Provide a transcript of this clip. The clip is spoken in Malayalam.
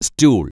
സ്റ്റൂൾ